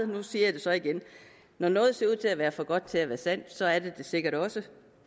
nu siger jeg det så igen når noget ser ud til at være for godt til at være sandt så er det det sikkert også